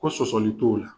Ko sɔsɔli t'o la